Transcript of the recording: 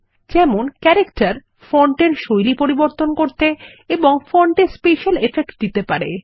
যেমন character font এর শৈলী পরিবর্তন করতে এবং ফন্ট এ স্পেশাল এফেক্ট দিতে পারে